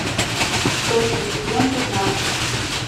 сотня сезон пятнадцать